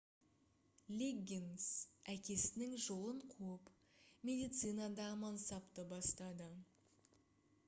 лиггинс әкесінің жолын қуып медицинада мансапты бастады